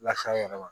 Lase an yɛrɛ ma